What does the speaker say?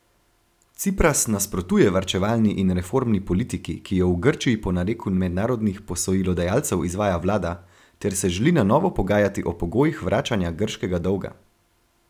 Cipras nasprotuje varčevalni in reformni politiki, ki jo v Grčiji po nareku mednarodnih posojilodajalcev izvaja vlada, ter se želi na novo pogajati o pogojih vračanja grškega dolga.